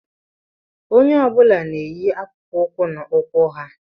Onye ọbula n'ènyì akpụkpọ ụkwụ n'ụkwụ ha